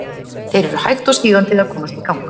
Þeir eru hægt og sígandi að komast í gang.